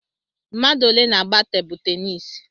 Mmadụ ole na-àgbá tebụ ténisi?